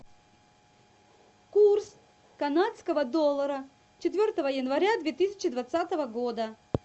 курс канадского доллара четвертого января две тысячи двадцатого года